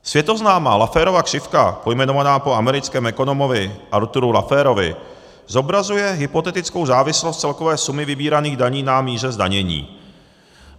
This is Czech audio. Světoznámá Lafferova křivka, pojmenovaná po americkém ekonomovi Arthuru Lafferovi, zobrazuje hypotetickou závislost celkové sumy vybíraných daní na míře zdanění.